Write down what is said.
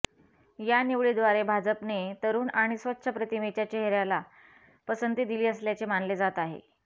या निवडीद्वारे भाजपने तरुण आणि स्वच्छ प्रतिमेच्या चेहऱ्याला पसंती दिली असल्याचे मानले जात आहे